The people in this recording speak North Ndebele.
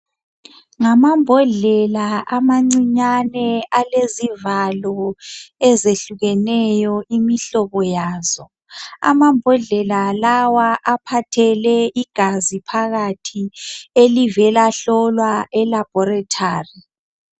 Ngamambhondlela amancane alezivalo ezehlukeneyo imihlobo yazo amambodlela lawa aphathele igazi phakathi elivela hlolwa elaboratary